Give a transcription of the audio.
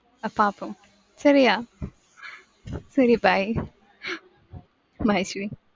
அஹ் பாப்போம் சரியா சரி bye bye சரி.